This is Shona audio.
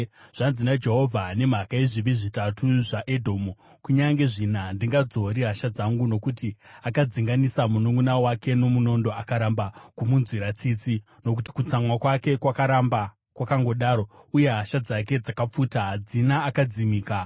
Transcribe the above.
Zvanzi naJehovha: “Nemhaka yezvivi zvitatu zvaEdhomu, kunyange zvina, handingadzori hasha dzangu. Nokuti akadzinganisa mununʼuna wake nomunondo, akaramba kumunzwira tsitsi, nokuti kutsamwa kwake kwakaramba kwakangodaro, uye hasha dzake dzakapfuta, hadzina akadzimisa,